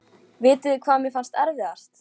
Vitið þið hvað mér fannst erfiðast?